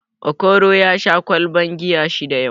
Okoro ya sha ƙwalban giya shida yau